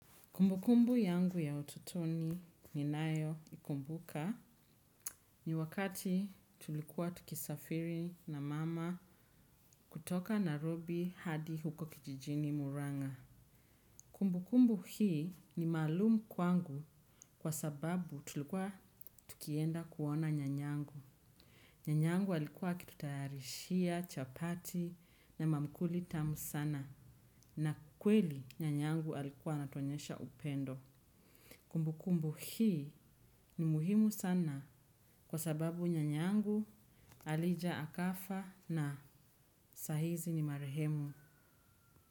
Kumbu kumbu yangu ya utotoni ninayo ikumbuka nibwakati tulikua tukisafiri na mama hutoka Nairobi hadi huko kijijini Murang'a. Kumbu kumbu hii ni maalumu kwangu kwa sababu tulikuwa tukienda kuona nyanyangu. Nyanyangu alikuwa akitutayarishia chapati na maamkuli tamu sana na kweli nyanyangu alikuwa anatuonyesha upendo. Kumbu kumbu hii ni muhimu sana kwa sababu nyanyangu alija akafa na sahizi ni marehemu.